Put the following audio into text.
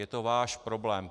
Je to váš problém.